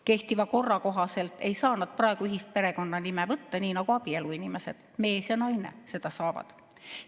Kehtiva korra kohaselt ei saa nad praegu ühist perekonnanime võtta, nii nagu abieluinimesed, mees ja naine, saavad.